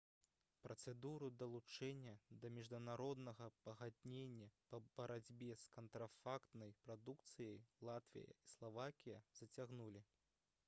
працэдуру далучэння да міжнароднага пагаднення па барацьбе з кантрафактнай прадукцыяй латвія і славакія зацягнулі